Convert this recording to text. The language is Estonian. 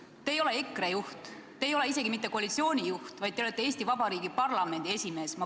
Te ei ole EKRE juht, te ei ole koalitsiooni juht, vaid te olete Eesti Vabariigi parlamendi esimees.